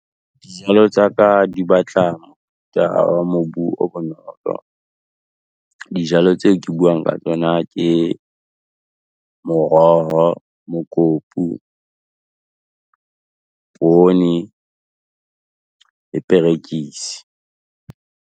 Dijalo tsa ka di batla mobu o bonolo. Dijalo tseo ke buang ka tsona, ke moroho, mokopu, pone le perekisi.